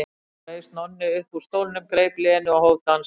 Skyndilega reis Nonni upp úr stólnum, greip Lenu og hóf dansinn.